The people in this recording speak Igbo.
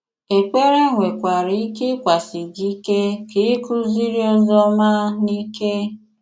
Èkpèrè nwekwara ike ị́kwàsi gị ike ka ị kụziri ozi ọma n’ike.